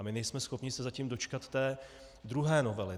A my nejsme schopni se zatím dočkat té druhé novely.